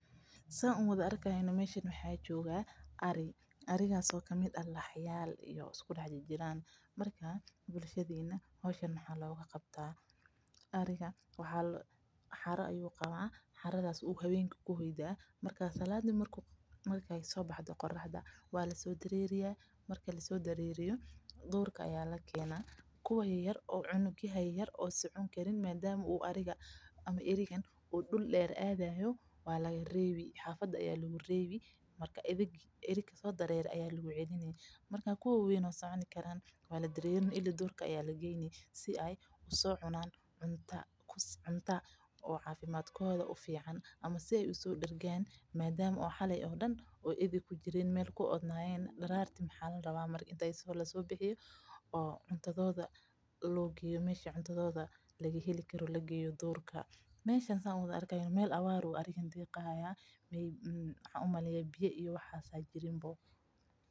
Saan uwada arki hayno waa ari oo laxyaal iskuugu dex jiraan xera ayuu qabaa duurka ayaa la keena kuwa yaryar waa lareebi kuwa kalena duurka ayaa lageyni si aay coos usoo cunaan oo usoo dergaan meeshan waa meel abaar ah biya iyo waxaas majiraan.